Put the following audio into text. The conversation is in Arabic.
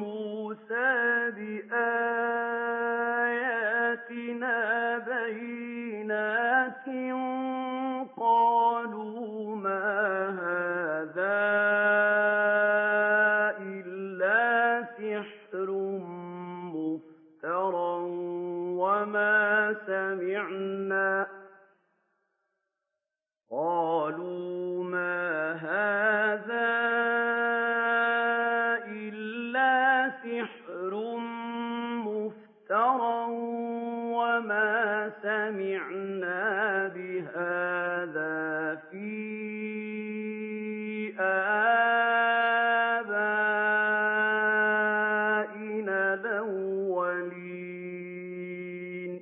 مُّوسَىٰ بِآيَاتِنَا بَيِّنَاتٍ قَالُوا مَا هَٰذَا إِلَّا سِحْرٌ مُّفْتَرًى وَمَا سَمِعْنَا بِهَٰذَا فِي آبَائِنَا الْأَوَّلِينَ